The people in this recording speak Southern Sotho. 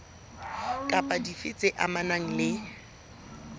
kapa dife tse amanang le